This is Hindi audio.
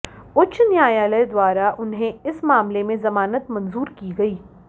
उच्च न्यायालय द्वारा उन्हें इस मामले में जमानत मंजूर की गई